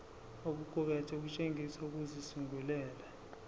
okuqukethwe kutshengisa ukuzisungulela